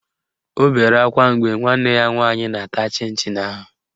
O bere akwa mgbe nwanne ya nwaanyị na-ata chịn chịn ahụ